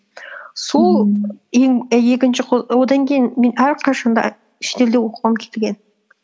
сол екінші одан кейін мен әрқашан да шетелде оқығым келген